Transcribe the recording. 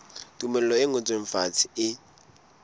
tumello e ngotsweng fatshe e